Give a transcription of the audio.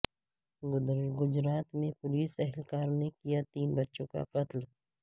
گجرات میں پولس اہلکار نے کیا تین بچوں کا قتل